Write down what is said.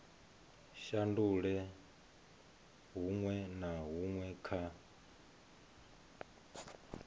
shandula huṅwe na huṅwe kha